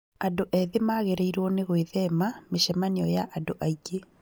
Andũ ethĩ magĩrĩirwo nĩgwĩthema mĩcemanio ya andũ aingĩ